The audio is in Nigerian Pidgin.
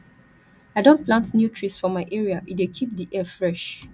i don plant new trees for my area e dey keep di air fresh